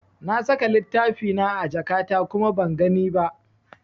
Na saka littafina a jakata kuma ban gani ba.